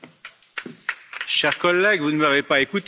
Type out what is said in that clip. Chère collègue, vous ne m'avez pas écouté, manifestement.